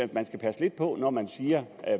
man skal passe lidt på når man siger